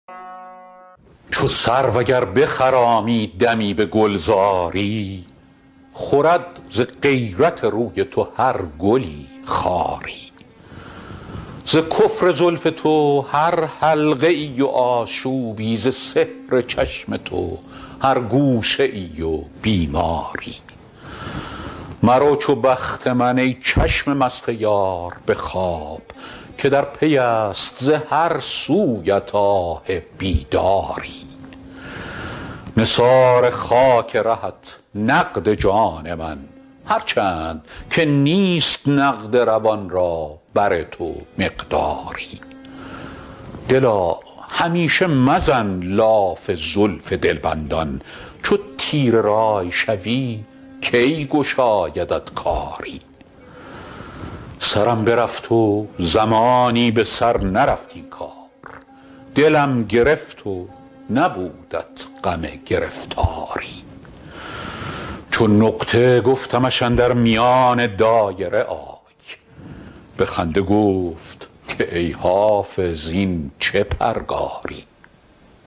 چو سرو اگر بخرامی دمی به گلزاری خورد ز غیرت روی تو هر گلی خاری ز کفر زلف تو هر حلقه ای و آشوبی ز سحر چشم تو هر گوشه ای و بیماری مرو چو بخت من ای چشم مست یار به خواب که در پی است ز هر سویت آه بیداری نثار خاک رهت نقد جان من هر چند که نیست نقد روان را بر تو مقداری دلا همیشه مزن لاف زلف دلبندان چو تیره رأی شوی کی گشایدت کاری سرم برفت و زمانی به سر نرفت این کار دلم گرفت و نبودت غم گرفتاری چو نقطه گفتمش اندر میان دایره آی به خنده گفت که ای حافظ این چه پرگاری